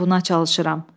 Mən buna çalışıram."